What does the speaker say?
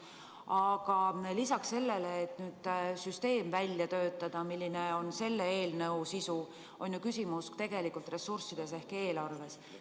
Aga lisaks sellele, et töötada välja süsteem, mis on selle eelnõu sisu, on ju küsimus tegelikult ressurssides ehk eelarves.